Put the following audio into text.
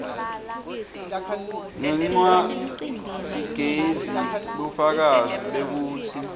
ngencwadzigezi bufakazi bekutsi